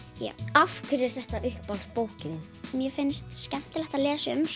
já af hverju er þetta uppáhaldsbókin þín mér finnst skemmtilega að lesa um